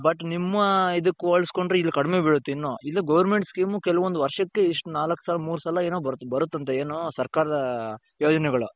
but ನಿಮ್ಮ ಇದಕ್ಕೆ ಹೋಲುಸ್ಕೊಂಡ್ರೆ ಇಲ್ಲಿ ಕಡಿಮೆ ಬೀಳುತ್ತೆ ಇನ್ನು. ಇನ್ನೂ government scheme ಕೆಲವೊಂದು ವರ್ಷಕ್ಕೆ ನಾಲಕ್ ಸಲ ಮೂರು ಸಲ ಏನೋ ಬರುತ್ತಂತೆ ಏನು? ಸರ್ಕಾರದ ಯೋಜನೆಗಳು .